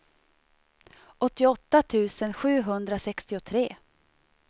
åttioåtta tusen sjuhundrasextiotre